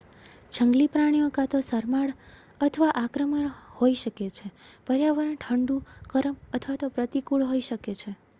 જંગલી પ્રાણીઓ કાં તો શરમાળ અથવા આક્રમક હોઈ શકે છે પર્યાવરણ ઠંડુ ગરમ અથવા તો પ્રતિકૂળ હોઈ શકે છે